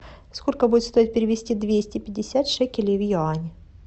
сколько будет стоить перевести двести пятьдесят шекелей в юани